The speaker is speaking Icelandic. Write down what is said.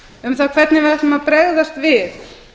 um það hvernig við ætlum að bregðast við